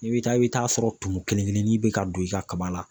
I bɛ taa i bɛ taa sɔrɔ tumu kelenkelenin bɛ ka don i ka kaba la.